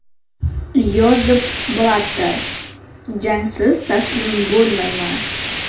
Yozef Blatter: Jangsiz taslim bo‘lmayman.